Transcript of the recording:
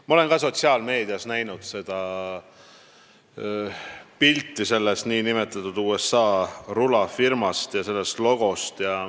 Ma olen ka sotsiaalmeedias näinud pilti selle USA rulafirma logost.